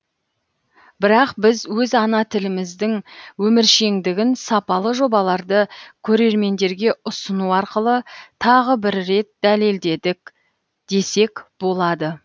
бірақ біз өз ана тіліміздің өміршеңдігін сапалы жобаларды көрермендерге ұсыну арқылы тағы бір рет дәлелдедік десек болады